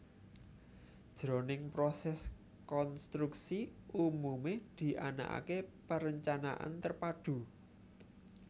Jroning prosès konstruksi umumé dianakaké perencanaan terpadu